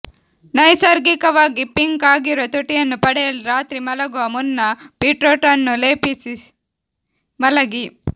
ನೈಸರ್ಗಿಕವಾಗಿ ಪಿಂಕ್ ಆಗಿರುವ ತುಟಿಯನ್ನು ಪಡೆಯಲು ರಾತ್ರಿ ಮಲಗುವ ಮುನ್ನ ಬೀಟ್ರೂಟ್ನ್ನು ಲೇಪಿಸಿ ಮಲಗಿ